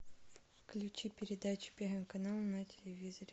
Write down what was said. включи передачу первый канал на телевизоре